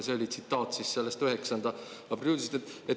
See oli tsitaat siis sellest 9. aprilli uudisest.